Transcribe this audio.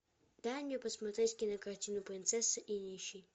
дай мне посмотреть кинокартину принцесса и нищий